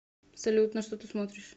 салют на что ты смотришь